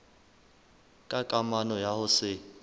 ka kamano ya ho se